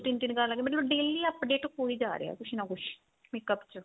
ਤਿੰਨ ਤਿੰਨ ਆ ਗਏ ਮਤਲਬ daily update ਹੋਈ ਜਾ ਰਿਹਾ ਕੁੱਝ ਨਾ ਕੁੱਝ makeup ਚ